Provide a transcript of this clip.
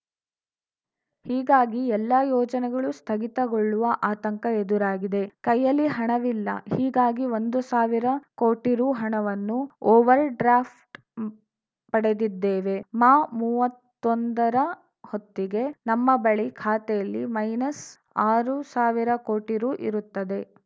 ಹೀಗಾಗಿ ಎಲ್ಲ ಯೋಜನೆಗಳು ಸ್ಥಗಿತಗೊಳ್ಳುವ ಆತಂಕ ಎದುರಾಗಿದೆ ಕೈಯಲ್ಲಿ ಹಣವಿಲ್ಲ ಹೀಗಾಗಿ ಒಂದು ಸಾವಿರ ಕೋಟಿ ರು ಹಣವನ್ನು ಓವರ್‌ಡ್ರ್ಯಾಫ್ಟ್‌ ಪಡೆದಿದ್ದೇವೆ ಮಾಮೂವತ್ತೊಂದರ ಹೊತ್ತಿಗೆ ನಮ್ಮ ಬಳಿ ಖಾತೆಯಲ್ಲಿ ಮೈನಸ್‌ ಆರು ಸಾವಿರ ಕೋಟಿ ರು ಇರುತ್ತದೆ